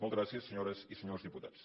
moltes gràcies senyores i senyors diputats